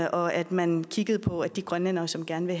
og at man kiggede på at de grønlændere som gerne